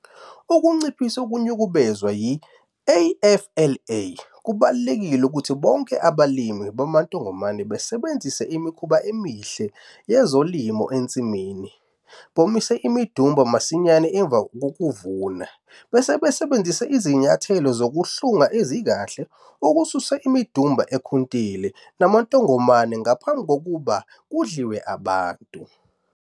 Ukunciphisa ukunukubezwa yi-AFLA, kubalulekile ukuthi bonke abalimi bamantongomane basebenzise Imikhuba Emihle YeZolimo ensimini, bomise imidumba masinyane emva kokuvuna, bese besebenzisa izinyathelo zokuhlunga ezikahle ukususa imidumba ekhuntile namantongomane ngaphambi kokuba kudliwe abantu.